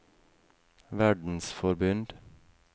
verdensforbund